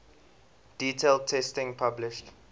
detailed testing published